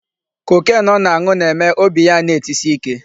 Cocaine ọ na-anụ ba-eme obi ya ana-etsi ike.